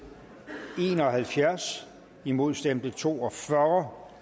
en og halvfjerds imod stemte to og fyrre